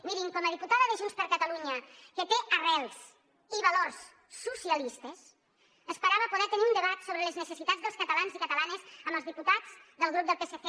mirin com a diputada de junts per catalunya que té arrels i valors socialistes esperava poder tenir un debat sobre les necessitats dels catalans i catalanes amb els diputats del grup del psc